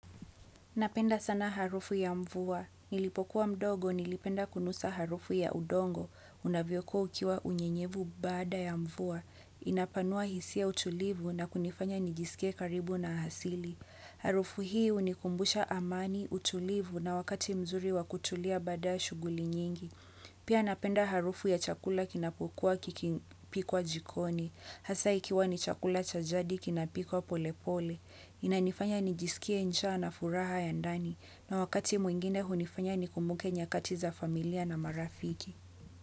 Napenda sana harufu ya mvua. Nilipokuwa mdogo, nilipenda kunusa harufu ya udongo. Unavyokuwa ukiwa unyenyevu baada ya mvua. Inapanua hisia utulivu na kunifanya nijisike karibu na hasili. Harufu hii hunikumbusha amani utulivu na wakati mzuri wa kutulia baada ya shughuli nyingi. Pia napenda harufu ya chakula kinapokuwa kikipikwa jikoni. Hasa ikiwa ni chakula chajadi kinapikwa pole pole, inanifanya ni jisikie njaa na furaha ya ndani na wakati mwingine hunifanya ni kumuke nyakatiza familia na marafiki.